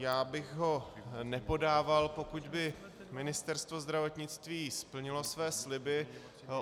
Já bych ho nepodával, pokud by Ministerstvo zdravotnictví splnilo své sliby.